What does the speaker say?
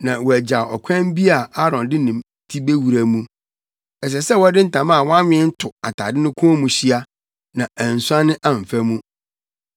na wɔagyaw ɔkwan bi a Aaron de ne ti bewura mu. Ɛsɛ sɛ wɔde ntama a wɔanwen to atade no kɔn mu hyia, na ansuane amfa mu.